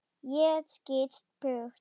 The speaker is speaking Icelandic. Ég skýst burt.